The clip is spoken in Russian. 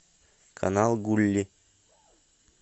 канал гулли